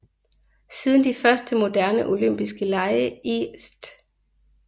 Siden de første moderne Olympiske lege i St